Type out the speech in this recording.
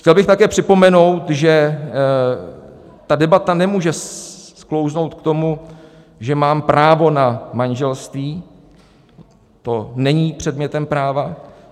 Chtěl bych také připomenout, že ta debata nemůže sklouznout k tomu, že mám právo na manželství, to není předmětem práva.